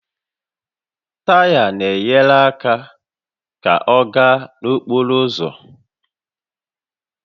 Taya na-enyere àkà ka ọ gaa n'okporo ụzọ